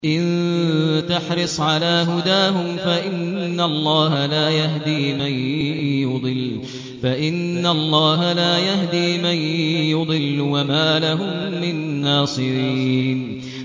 إِن تَحْرِصْ عَلَىٰ هُدَاهُمْ فَإِنَّ اللَّهَ لَا يَهْدِي مَن يُضِلُّ ۖ وَمَا لَهُم مِّن نَّاصِرِينَ